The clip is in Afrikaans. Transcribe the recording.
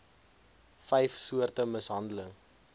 vyf soorte mishandeling